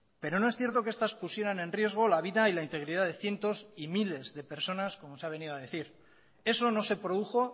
pero no es cierto que estas pusieran en riesgo la vida y la integridad de cientos y miles de personas como se ha venido a decir eso no se produjo